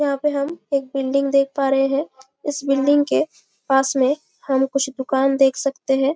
यहाँ पे हम एक बिल्डिंग देख पा रहे है इस बिल्डिंग के पास में हम कुछ दुकान देख सकते है।